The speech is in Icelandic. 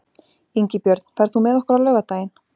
Ingibjörn, ferð þú með okkur á laugardaginn?